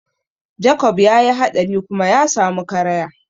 Jakob ya yi haɗari kuma ya samu karaya.